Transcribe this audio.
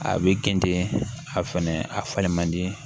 A bɛ kɛntɛn a fɛnɛ a falen man di